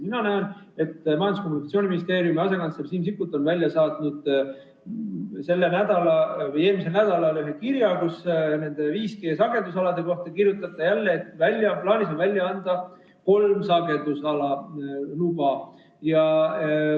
Mina näen, et Majandus- ja Kommunikatsiooniministeeriumi asekantsler Siim Sikkut on välja saatnud eelmisel nädalal ühe kirja, kus ta nende 5G-sagedusalade kohta kirjutab jälle, et plaanis on välja anda kolm sagedusala luba.